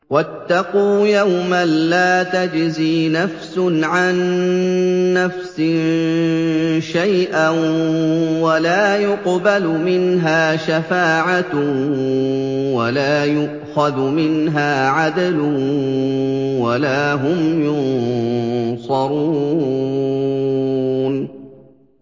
وَاتَّقُوا يَوْمًا لَّا تَجْزِي نَفْسٌ عَن نَّفْسٍ شَيْئًا وَلَا يُقْبَلُ مِنْهَا شَفَاعَةٌ وَلَا يُؤْخَذُ مِنْهَا عَدْلٌ وَلَا هُمْ يُنصَرُونَ